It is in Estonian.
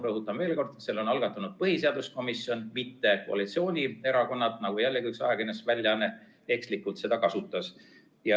Rõhutan veel kord, et selle on algatanud põhiseaduskomisjon, mitte koalitsioonierakonnad, nagu jällegi üks ajakirjandusväljaanne ekslikult teatas.